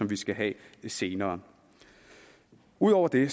vi skal have senere ud over det